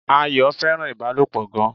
Ayọ̀ fẹ́ràn Ìbálòpọ̀ gan